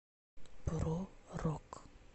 про рок